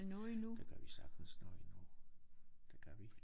Det kan vi sagtens nå endnu det kan vi